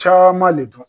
Caman de dɔn